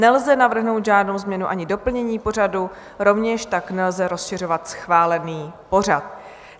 Nelze navrhnout žádnou změnu ani doplnění pořadu, rovněž tak nelze rozšiřovat schválený pořad.